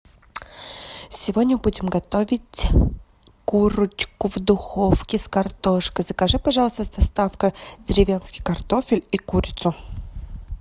сегодня будем готовить курочку в духовке с картошкой закажи пожалуйста с доставкой деревенский картофель и курицу